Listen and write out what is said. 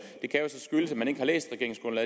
eller ikke har læst